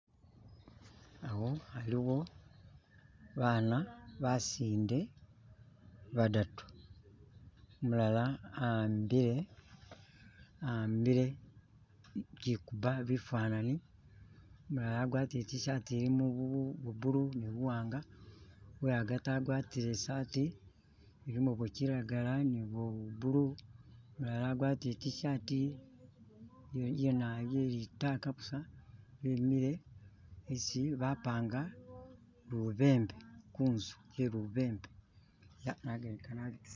Awo aliwo bana basinde badatu, umulala ahambile ahambile kyikuba bifanani, umulala agwatile itishati elimo bwa bulu ni buwanga, wehagati agwatile elimo bwakilagala ni bwa bulu, ulala agwatile itishati yelitaaka busa imile isi bapanga lubembe, kunzu ye lubembe